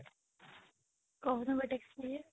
କହୁନୁ ଗୋଟେ experience